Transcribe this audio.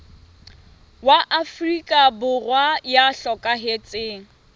wa afrika borwa ya hlokahetseng